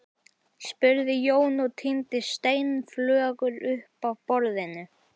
spurði Jón og tíndi steinflögur upp af borðinu.